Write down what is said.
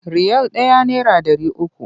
Riyal ɗaya naira ɗari uku.